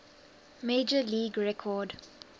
major league record